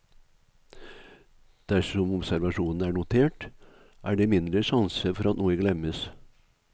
Dersom observasjonene er notert, er det mindre sjanse for at noe glemmes.